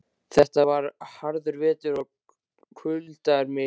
Þetta var harður vetur og kuldar miklir.